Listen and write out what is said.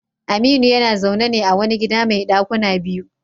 Aminu yana zaune ne a wani gida mai dakuna biyu.